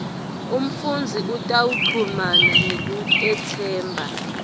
umfundzi utawuchumana ngekutetsemba